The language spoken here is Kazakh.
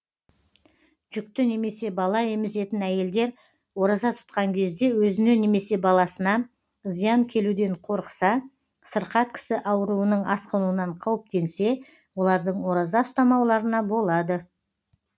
жүкті немесе бала емізетін әйелдер ораза тұтқан кезде өзіне немесе баласына зиян келуден қорықса сырқат кісі ауруының асқынуынан қауіптенсе олардың ораза ұстамауларына болады